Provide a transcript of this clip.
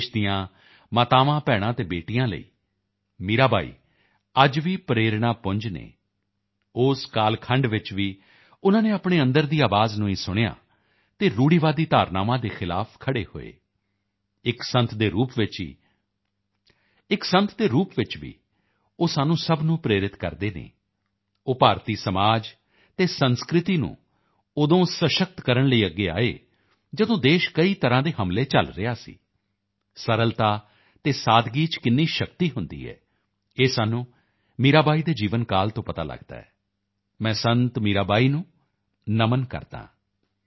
ਦੇਸ਼ ਦੀਆਂ ਮਾਤਾਵਾਂਭੈਣਾਂ ਅਤੇ ਬੇਟੀਆਂ ਲਈ ਮੀਰਾ ਬਾਈ ਅੱਜ ਵੀ ਪ੍ਰੇਰਣਾ ਪੁੰਜ ਹਨ ਉਸ ਕਾਲਖੰਡ ਵਿੱਚ ਵੀ ਉਨ੍ਹਾਂ ਨੇ ਆਪਣੇ ਅੰਦਰ ਦੀ ਆਵਾਜ਼ ਨੂੰ ਹੀ ਸੁਣਿਆ ਅਤੇ ਰੂੜੀਵਾਦੀ ਧਾਰਨਾਵਾਂ ਦੇ ਖਿਲਾਫ਼ ਖੜ੍ਹੇ ਹੋਏ ਇੱਕ ਸੰਤ ਦੇ ਰੂਪ ਵਿੱਚ ਵੀ ਉਹ ਸਾਨੂੰ ਸਭ ਨੂੰ ਪ੍ਰੇਰਿਤ ਕਰਦੇ ਹਨ ਉਹ ਭਾਰਤੀ ਸਮਾਜ ਅਤੇ ਸੰਸਕ੍ਰਿਤੀ ਨੂੰ ਉਦੋਂ ਸਸ਼ਕਤ ਕਰਨ ਲਈ ਅੱਗੇ ਆਏ ਜਦੋਂ ਦੇਸ਼ ਕਈ ਤਰ੍ਹਾਂ ਦੇ ਹਮਲੇ ਝੱਲ ਰਿਹਾ ਸੀ ਸਰਲਤਾ ਤੇ ਸਾਦਗੀ ਵਿੱਚ ਕਿੰਨੀ ਸ਼ਕਤੀ ਹੁੰਦੀ ਹੈ ਇਹ ਸਾਨੂੰ ਮੀਰਾ ਬਾਈ ਦੇ ਜੀਵਨ ਕਾਲ ਤੋਂ ਪਤਾ ਲਗਦਾ ਹੈ ਮੈਂ ਸੰਤ ਮੀਰਾ ਬਾਈ ਨੂੰ ਨਮਨ ਕਰਦਾ ਹਾਂ